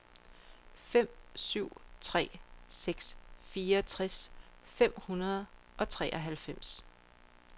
fem syv tre seks fireogtres fem hundrede og treoghalvfems